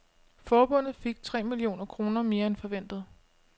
Forbundet fik tre millioner kroner mere end forventet.